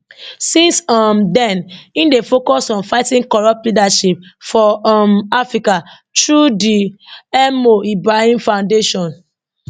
since um den im dey focused on fighting corrupt leadership for um africa through di mo ibrahim foundation